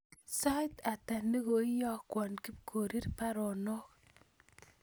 Sait ata ne koiyokwon Kipkorir baruonok